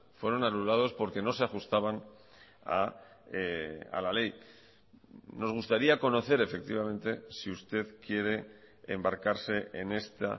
fueron anulados porque no se ajustaban a la ley nos gustaría conocer efectivamente si usted quiere embarcarse en esta